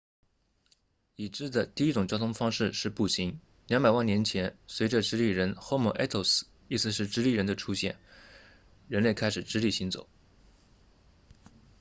已知的第一种交通方式是步行200万年前随着直立人 homo erectus 意思是直立的人的出现人类开始直立行走